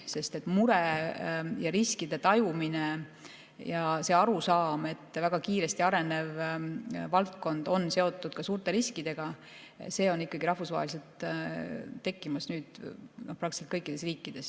Sest mure, riskide tajumine ja arusaam, et väga kiiresti arenev valdkond on seotud ka suurte riskidega, on ikkagi rahvusvaheline, see on tekkimas praktiliselt kõikides riikides.